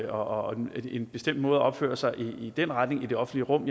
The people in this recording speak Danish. og en bestemt måde at opføre sig på i den retning i det offentlige rum